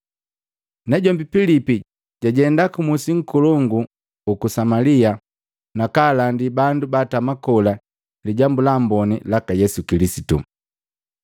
Najombi Pilipi jajenda ku musi nkolongu juku Samalia na kaalandi bandu baatama kola Lijambu la Amboni laka Yesu Kilisitu.